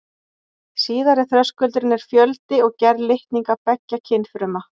Síðari þröskuldurinn er fjöldi og gerð litninga beggja kynfruma.